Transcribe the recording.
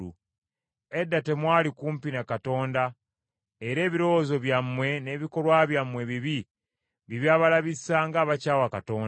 Edda temwali kumpi ne Katonda, era ebirowoozo byammwe n’ebikolwa byammwe ebibi bye byabalabisa ng’abakyawa Katonda.